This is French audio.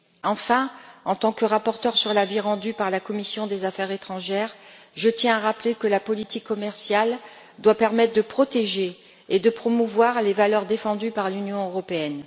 Enfin, en tant que rapporteure sur l'avis rendu par la commission des affaires étrangères, je tiens à rappeler que la politique commerciale doit permettre de protéger et de promouvoir les valeurs défendues par l'Union européenne.